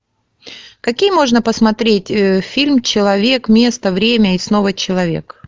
какие можно посмотреть фильм человек место время и снова человек